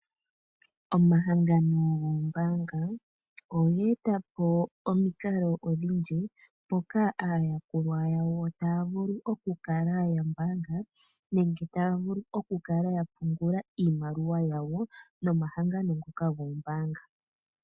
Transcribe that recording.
Omahangano gombaanga oge eta po omikalo odhindji moka aayakulwa yawo taa vulu oku kala ya mbaanga nenge taa vulu oku kala ya pungula iimaliwa yawo nomahangano ngoka goombaanga.